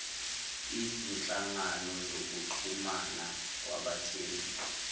izinhlangano zokuxhumana kwabathengi